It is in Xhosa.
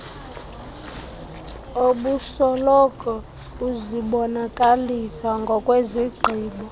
obusoloko uzibonakalisa ngokwezigqibo